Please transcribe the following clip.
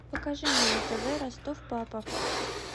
покажи мне на тв ростов папа